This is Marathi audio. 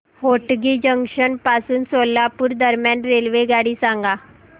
होटगी जंक्शन पासून सोलापूर दरम्यान रेल्वेगाडी सांगा